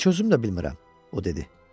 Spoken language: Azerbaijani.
Heç özüm də bilmirəm, o dedi.